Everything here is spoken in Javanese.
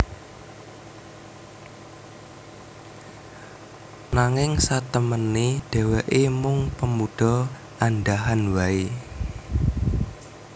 Nanging satemené dhèwèké mung pemudha andhahan waé